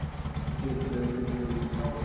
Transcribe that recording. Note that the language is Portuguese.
O que deu toda a vida me deu de sobra.